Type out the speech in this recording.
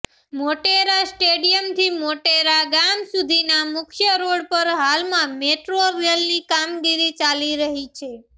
મોટેરા સ્ટેડિયમથી મોટેરા ગામ સુધીના મુખ્ય રોડ પર હાલમાં મેટ્રો રેલની કામગીરી ચાલી રહી છે